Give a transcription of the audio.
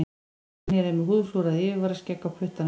Brynjar er með húðflúrað yfirvaraskegg á puttanum.